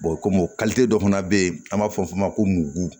kɔmi dɔ fana bɛ yen an b'a fɔ o ma ko mugu